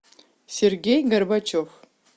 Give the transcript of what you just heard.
сергей горбачев